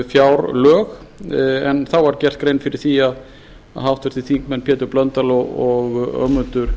fjárlög en þá var gerð grein fyrir því að háttvirtur þingmaður pétur blöndal og ögmundur